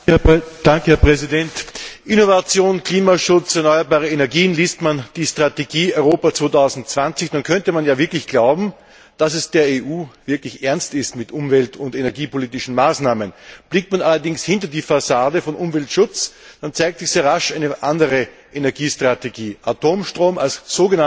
Innovation, Klimaschutz, erneuerbare Energien liest man die Strategie Europa 2020, dann könnte man ja wirklich glauben, dass es der EU ernst ist mit umwelt und energiepolitischen Maßnahmen. Blickt man allerdings hinter die Fassade des Umweltschutzes, dann zeigt sich sehr rasch eine andere Energiestrategie Atomstrom als sogenannte schonende Energie.